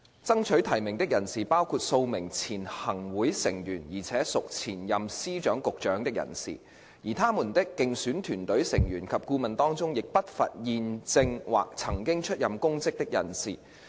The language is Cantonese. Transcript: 爭取提名的人士包括數名前任行會成員而且屬前任司局長的人士，而他們的競選團隊成員及顧問當中，亦不乏現正或曾經出任公職的人士。